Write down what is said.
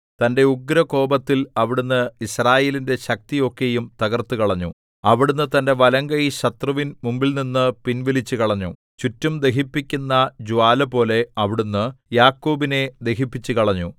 തന്റെ ഉഗ്രകോപത്തിൽ അവിടുന്ന് യിസ്രായേലിന്റെ ശക്തി ഒക്കെയും തകര്‍ത്തുക്കളഞ്ഞു അവിടുന്ന് തന്റെ വലങ്കൈ ശത്രുവിൻ മുമ്പിൽനിന്ന് പിൻവലിച്ചുകളഞ്ഞു ചുറ്റും ദഹിപ്പിക്കുന്ന ജ്വാലപോലെ അവിടുന്ന് യാക്കോബിനെ ദഹിപ്പിച്ചുകളഞ്ഞു